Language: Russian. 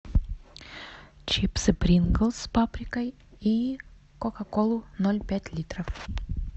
чипсы принглс с паприкой и кока колу ноль пять литров